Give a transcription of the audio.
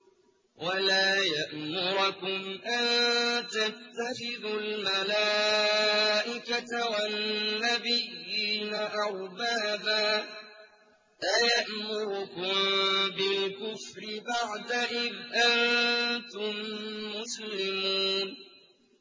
وَلَا يَأْمُرَكُمْ أَن تَتَّخِذُوا الْمَلَائِكَةَ وَالنَّبِيِّينَ أَرْبَابًا ۗ أَيَأْمُرُكُم بِالْكُفْرِ بَعْدَ إِذْ أَنتُم مُّسْلِمُونَ